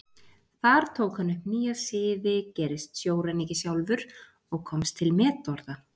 Þar tók hann upp nýja siði, gerist sjóræningi sjálfur og komst til metorða.